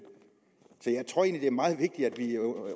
så jeg tror egentlig at det er meget vigtigt at vi under